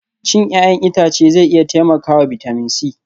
Cin 'ya'yan itace zai iya taimakawa bitamin C